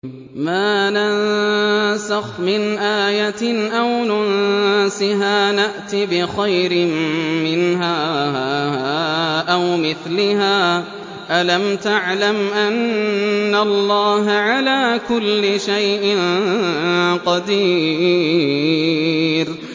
۞ مَا نَنسَخْ مِنْ آيَةٍ أَوْ نُنسِهَا نَأْتِ بِخَيْرٍ مِّنْهَا أَوْ مِثْلِهَا ۗ أَلَمْ تَعْلَمْ أَنَّ اللَّهَ عَلَىٰ كُلِّ شَيْءٍ قَدِيرٌ